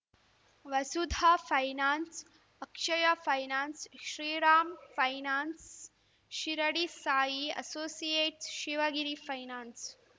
Vasudha finance Akshaya finance Shriram finance Shirdi Sai associates Shivagiri finance